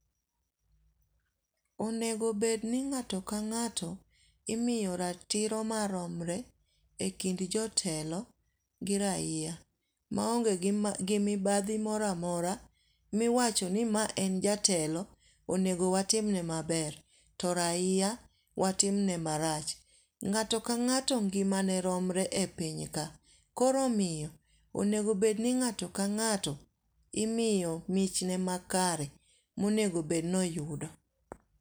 Onego bed ni ng'ato ka ng'ato imiyo ratiro maromre e kind jotelo gi raia maonge gi mibadhi moro amora miwacho ni ma en jatelo onego watim ne maber to raia watim ne marach. Ng'ato ka ng'ato ngima ne romre e pinya ka. Koro omiyo onego bed ni ng'ato ka ng'ato imiyo mich ne makare monego bed noyudo.